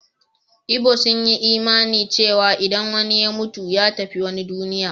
Igbo sun yi imanin cewa idan wani ya mutu, ya tafi wata duniya.